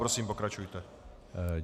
Prosím, pokračujte.